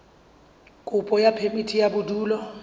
kopo ya phemiti ya bodulo